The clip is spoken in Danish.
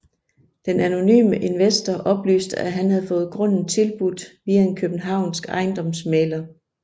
Den anonyme investor oplyste at han havde fået grunden tilbudt via en københavnsk ejendomsmægler